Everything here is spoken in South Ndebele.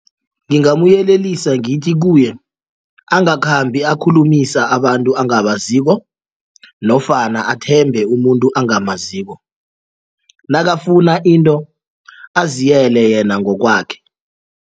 Ngingamuyelelisa ngithi kuye angakhambi akhulumilisa abantu ongabaziko nofana athembe umuntu ongamaziko nakafuna into aziyele yena ngokwakhe.